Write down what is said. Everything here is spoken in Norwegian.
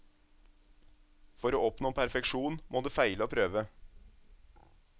For å oppnå perfeksjon, må du feile og prøve.